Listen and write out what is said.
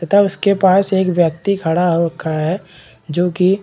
तथा उसके पास एक व्यक्ति खड़ा हो रखा है जो की--